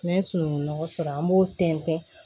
N'an ye sunungun nɔgɔ sɔrɔ an b'o tɛntɛn